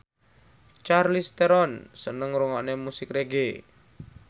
Charlize Theron seneng ngrungokne musik reggae